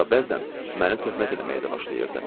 Hətta bəzən məni töhmət eləməyə də başlayırdı.